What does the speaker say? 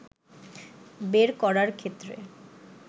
বের করার ক্ষেত্রে